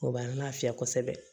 O b'an lafiya kosɛbɛ